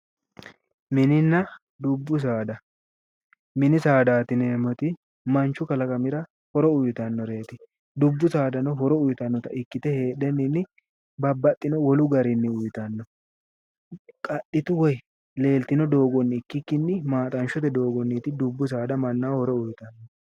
Mininna dubbu saada, minni saadatti yineemotti manchu kalaqamira horo uyitanoreeti, dubbu saadanno horo uyitanotta ikkitte heedhenni babaxinno wolu garinni uyittanno, qaxittu woyi leelitinno doogonni ikkiki maaxanshotte doogonitti dubbu saada manaho horo uyiitanohu.